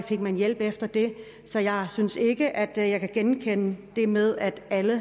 fik man hjælp efter det så jeg synes ikke at jeg kan genkende det med at alle